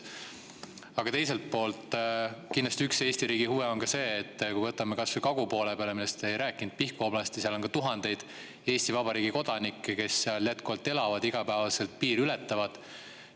Aga teiselt poolt, kindlasti üks Eesti riigi huve on ka see, kui võtame kas või kagu poole, millest te ei rääkinud, Pihkva oblasti, kus on ka tuhandeid Eesti Vabariigi kodanikke, kes seal elavad ja igapäevaselt piiri ületavad.